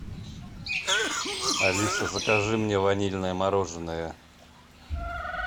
алиса закажи мне ванильное мороженое